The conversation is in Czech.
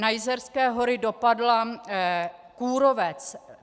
Na Jizerské hory dopadl kůrovec.